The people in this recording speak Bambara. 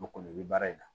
Mɔgɔ kɔni bɛ baara in na